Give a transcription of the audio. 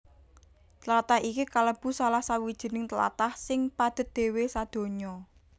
Tlatah iki kalebu salah sawijining tlatah sing padhet dhéwé sadonya